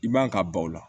I man ka ban o la